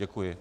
Děkuji.